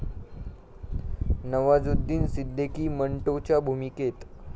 नवाजुद्दीन सिद्दीकी मंटोच्या भूमिकेत